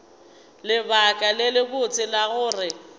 lebaka le lebotse la gore